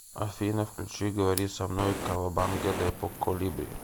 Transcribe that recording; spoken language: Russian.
афина включи говори со мной кавабанга депо колибри